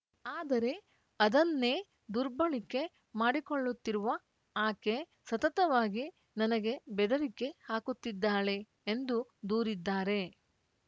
ಆದರೆ ಅದನ್ನೇ ದುರ್ಬಳಕೆ ಮಾಡಿಕೊಳ್ಳುತ್ತಿರುವ ಆಕೆ ಸತತವಾಗಿ ನನಗೆ ಬೆದರಿಕೆ ಹಾಕುತ್ತಿದ್ದಾಳೆ ಎಂದು ದೂರಿದ್ದಾರೆ